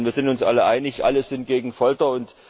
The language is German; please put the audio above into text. Wir sind uns alle einig Alle sind gegen Folter.